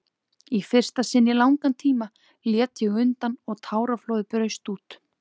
Í fyrsta sinni í langan tíma lét ég undan og táraflóðið braust út.